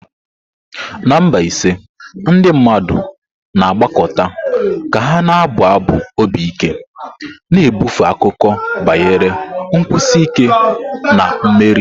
Na Mbaise, ndị mmadụ na-agbakọta ka ha na-abụ abụ obi ike, na-ebufe akụkọ banyere nkwụsi ike na mmeri.